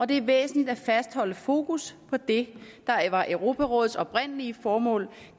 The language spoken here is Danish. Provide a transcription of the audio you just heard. det er væsentligt at fastholde fokus på det der var europarådets oprindelige formål